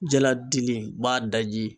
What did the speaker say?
Jaladili b'a daji